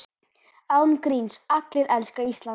Án gríns, allir elska Ísland.